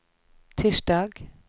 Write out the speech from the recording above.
tirsdag